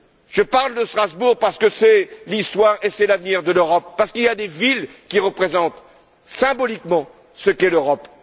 Je parle de Strasbourg parce que c'est l'histoire et l'avenir de l'Europe, parce qu'il y a des villes qui représentent symboliquement ce qu'est l'Europe.